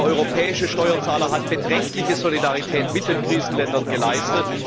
Der europäische Steuerzahler hat beträchtliche Solidarität mit den Krisenländern gezeigt.